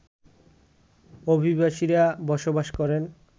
অভিবাসীরা বসবাস করেন